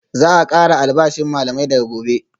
Za a kara albashin malamai daga Gobe